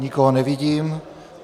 Nikoho nevidím.